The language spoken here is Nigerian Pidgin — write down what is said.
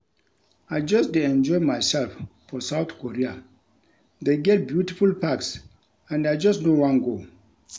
I just dey enjoy myself for South Korea. They get beautiful parks and I just no wan go